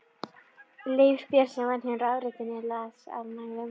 Leifur Björnsson vann hjá rafveitunni, las af mælum.